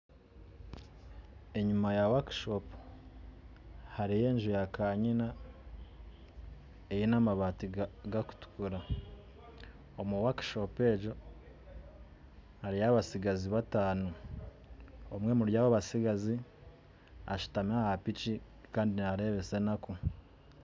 Enyuma ya work shop hariyo enju ya kanyina eine amabati gakutukura omu work shop egi hariyo abatsigazi batano omwe omuryabo abatsigazi ashutami aha piki Kandi narebesa enaku.